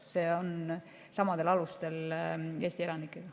See toimub samadel alustel teiste Eesti elanikega.